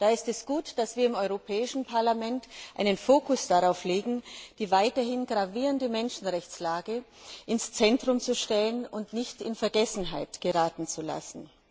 Da ist es gut, dass wir im Europäischen Parlament einen Fokus darauf legen, die weiterhin gravierende Menschenrechtslage ins Zentrum zu stellen und nicht in Vergessenheit geraten zu lassen.